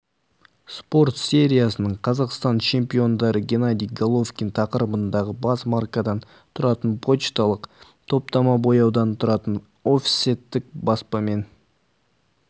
спорт сериясының қазақстан чемпиондары геннадий головкин тақырыбындағы бес маркадан тұратын пошталық топтама бояудан тұратын офсеттік баспамен